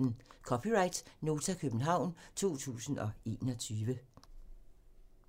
(c) Nota, København 2021